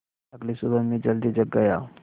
अगली सुबह मैं जल्दी जाग गया